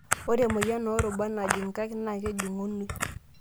Ore emoyian oo rubat najing' nkaik naa kejung'unoi.